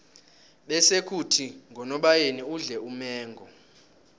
bese khuthi ngonobayeni udle umengo